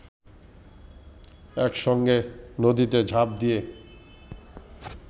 একসঙ্গে নদীতে ঝাঁপ দিয়ে